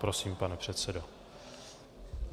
Prosím, pane předsedo.